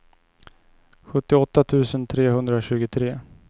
sjuttioåtta tusen trehundratjugotre